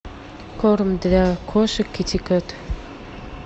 корм для кошек китикет